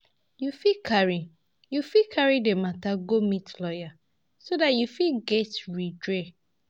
You fit carry You fit carry the matter go meet lawyer so dat you fit get redress